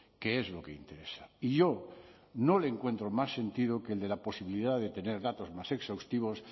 que es lo que interesa y yo no le encuentro más sentido que el de la posibilidad de tener datos más exhaustivos